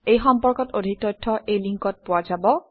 এই সম্পৰ্কত অধিক তথ্য এই লিংকত পোৱা যাব